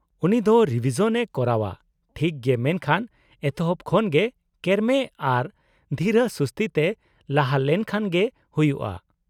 -ᱩᱱᱤ ᱫᱚ ᱨᱤᱵᱷᱤᱥᱚᱱ ᱮ ᱠᱚᱨᱟᱣᱼᱟ ᱴᱷᱤᱠ ᱜᱮ ᱢᱮᱱᱠᱷᱟᱱ ᱮᱛᱚᱦᱚᱵ ᱠᱷᱚᱱ ᱜᱮ ᱠᱮᱨᱢᱮ ᱟᱨ ᱫᱷᱤᱨᱟᱹ ᱥᱩᱥᱛᱤ ᱛᱮ ᱞᱟᱦᱟ ᱞᱮᱱᱠᱷᱟᱱ ᱜᱮ ᱦᱩᱭᱩᱜᱼᱟ ᱾